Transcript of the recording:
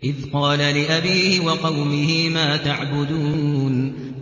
إِذْ قَالَ لِأَبِيهِ وَقَوْمِهِ مَا تَعْبُدُونَ